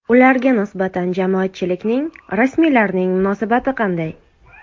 Ularga nisbatan jamoatchilikning, rasmiylarning munosabati qanday?